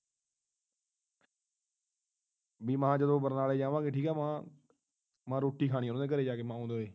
ਬਈਮਾ ਜਦੋਂ barnala ਜਾਵਾਂਗੇ ਠੀਕ ਆ ਮਾਂ ਮਾਂ ਉਨ੍ਹਾਂ ਦੇ ਘਰ ਜਾ ਕੇ ਰੋਟੀ ਖਾਣੀ ਮਾਂ ਮਾਂ